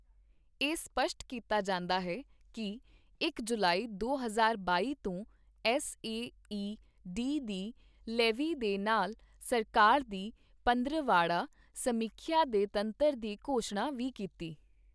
ਇਹ ਸਪੱਸ਼ਟ ਕੀਤਾ ਜਾਂਦਾ ਹੈ ਕਿ ਇਕ ਜੁਲਾਈ, ਦੋ ਹਜ਼ਾਰ ਬਾਈ ਤੋਂ ਐੱਸ ਏ ਈ ਡੀ ਦੀ ਲੇਵੀ ਦੇ ਨਾਲ ਸਰਕਾਰ ਦੀ ਪੰਦਰਵਾੜਾ ਸਮੀਖਿਆ ਦੇ ਤੰਤਰ ਦੀ ਘੋਸ਼ਣਾ ਵੀ ਕੀਤੀ।